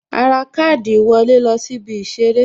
A ra káàdì ìwọlé lọ sí ibi Ìṣeré